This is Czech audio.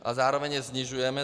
A zároveň je snižujeme.